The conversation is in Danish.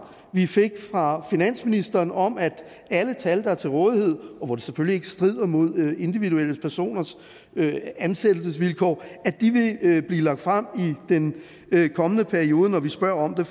vi fik fra finansministeren om at alle tal der er til rådighed og hvor de selvfølgelig ikke strider mod individuelle personers ansættelsesvilkår vil blive lagt frem i den kommende periode når vi spørger om det